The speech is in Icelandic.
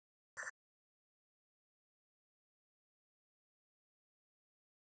Og fyrr en varir hefur hann beint byssunni að mér.